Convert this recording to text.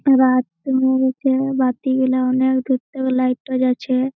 রাত দুইটা বাতি গুলা অনেক দূর থেকে লাইট তজাচ্ছে--